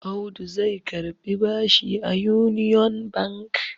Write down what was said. Audu zai karbi bashi a Union Bank.